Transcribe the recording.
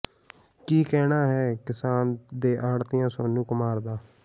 ਕਿ ਕਹਿਣਾ ਹੈ ਕਿਸਾਨ ਦੇ ਆੜ੍ਹਤੀ ਸੋਨੂੰ ਕੁਮਾਰ ਦਾ